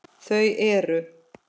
Þau eru